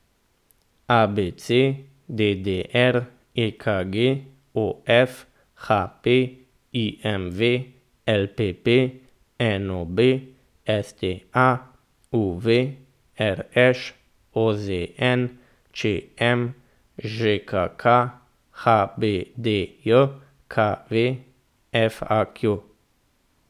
A B C; D D R; E K G; O F; H P; I M V; L P P; N O B; S T A; U V; R Š; O Z N; Č M; Ž K K; H B D J K V; F A Q.